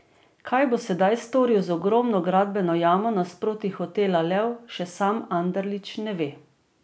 Kaj bo sedaj storil z ogromno gradbeno jamo nasproti hotela Lev, še sam Anderlič ne ve.